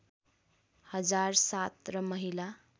हजार ७ र महिला